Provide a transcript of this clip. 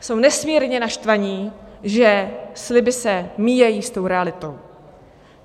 Jsou nesmírně naštvaní, že sliby se míjejí s tou realitou.